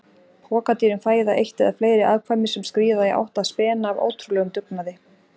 Pokadýrin fæða eitt eða fleiri afkvæmi sem skríða í átt að spena af ótrúlegum dugnaði.